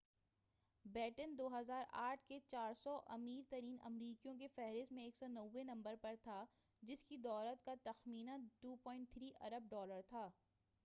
beaten 2008 کے 400 امیر ترین امریکیوں کی فہرست میں 190 نمبر پر تھا جس کی دولت کا تخمینہ 2.3 ارب ڈالر تھا